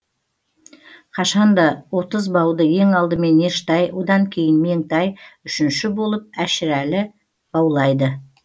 қашан да отыз бауды ең алдымен ештай одан кейін меңтай үшінші болып әшірәлі баулайды